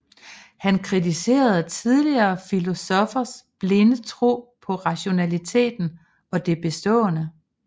Han kritiserede tidligere filosoffers blinde tro på rationaliteten og det bestående